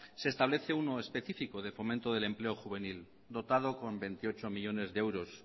se establece uno específico de fomento del empleo juvenil dotado con veintiocho millónes de euros